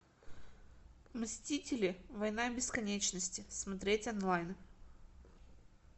мстители война бесконечности смотреть онлайн